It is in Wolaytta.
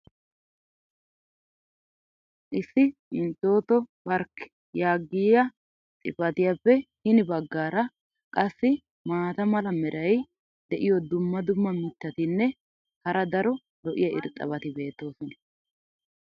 Issi "Entoto park" yaagiya xifatiyappe hini bagaara qassi maata mala meray diyo dumma dumma mitatinne hara daro lo'iya irxxabati beetoosona.